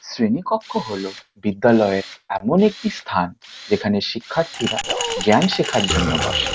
শ্রেণীকক্ষ হলো বিদ্যালয়ের এমন একটি স্থান যেখানে শিক্ষার্থীরা জ্ঞান শেখার জন্য বসে।